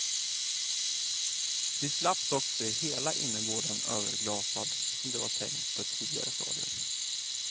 Vi slapp dock se hela innergården överglasad, som det var tänkt på ett tidigare stadium.